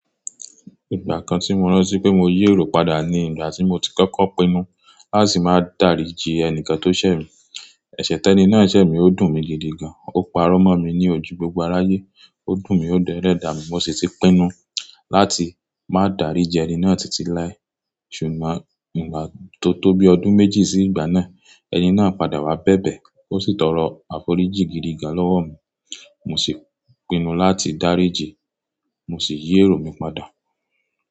Ìgbà kan tí mo rántí pé mo yí èrò padà ni ìgbà tí mo ti kókó pinnu láti máa dáríji ẹni kan tó ṣẹ̀ mi. Ẹ̀sẹ̀ tẹ́ni náà ṣẹ̀ mi ó dùn mi gidi gan. Ó parọ́ mọ́ mi ní ojú gbogbo aráyé. Ó dùn mí ó dún ẹlẹ̀dà mi. Mo sì ti pinnu láti máa dáríji ẹni náà títí lái. Ṣùgbọ́n nígbà tó tó bi ọdún méjì sí ìgbà náà, ẹni náà padà wá bẹ̀bẹ̀. Ó sì tọrọ àforíjì gidi gan lọ́wọ́ mi. Mo sì pinnu láti dáríji. Mo sì yí èrò mi padà.